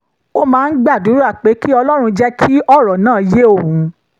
ó máa ń gbàdúrà pé kí ọlọ́run jẹ́ kí ọ̀rọ̀ náà yé òun